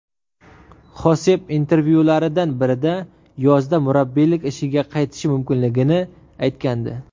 Xosep intervyularidan birida yozda murabbiylik ishiga qaytishi mumkinligini aytgandi.